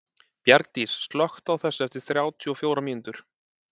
Bjargdís, slökktu á þessu eftir þrjátíu og fjórar mínútur.